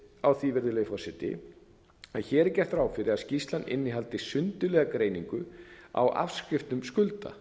á því virðulegi forseti að hér er gert ráð fyrir að skýrslan innihaldi sundurliðaða greiningu á afskriftum skulda